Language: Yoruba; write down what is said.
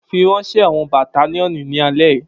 Firanṣẹ awọn battalionu ni alẹ yi!